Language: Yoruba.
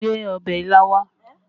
Gbé ọbẹ̀ ilá wá!